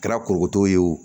Kɛra korokoto ye o